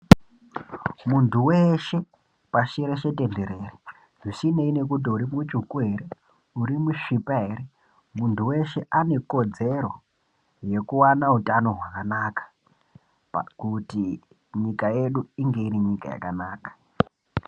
Mundu weshe pashi reshe tenderere zvisineyi nekuti uri mutsvuku here uri musvipa here muntu weshe ane kodzero yekuwana utano hwakanaka kuti nyika yedu inga iri nyika yakanaka.